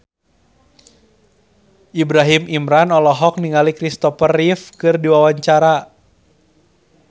Ibrahim Imran olohok ningali Christopher Reeve keur diwawancara